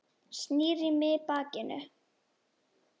Snýr í mig bakinu.